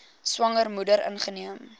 swanger moeder ingeneem